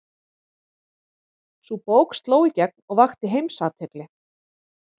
Sú bók sló í gegn og vakti heimsathygli.